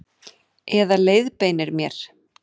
Eða leiðbeinir mér.